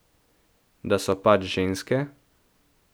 Da so pač ženske?